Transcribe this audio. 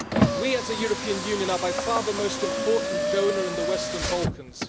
We, as the European Union, are by far the most important donor in the Western Balkans.